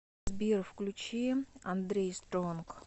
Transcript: сбер включи андрей стронг